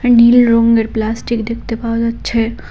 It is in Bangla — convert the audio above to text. আর নীল রঙ্গের প্লাস্টিক দেখতে পাওয়া যাচ্ছে।